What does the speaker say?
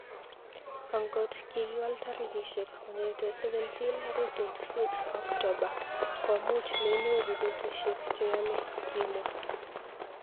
"Angot kikiwal tarikishek kong'etei 17 akoi 26 Oktoba komuch menyoru petushek cheyomei", kimwa.